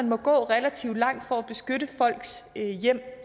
må gå relativt langt for at beskytte folks hjem